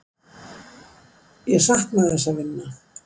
Ég sakna þess að vinna.